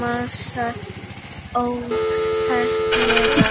másar óskaplega.